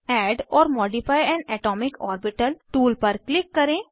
add or modify an atomic orbital tool पर click करें